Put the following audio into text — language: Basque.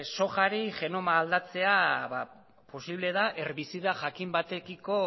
sojari genoma aldatzea posible da herbizida jakin batekiko